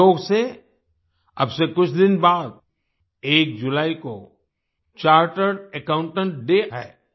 संयोग से अब से कुछ दिन बाद एक जुलाई को चार्टर्ड अकाउंटेंट्स डे है